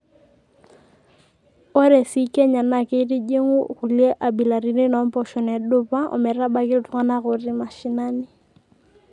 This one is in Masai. Ore sii Kenya naa keitujing'u kulie abilaritin oompoosho nedupaa ometabaiki iltung'ana ootii mashinani.